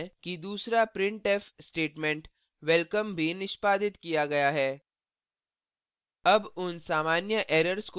हम देखते हैं कि दूसरा printf statement welcome भी निष्पादित किया गया है